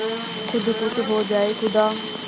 खुद खुश हो जाए खुदा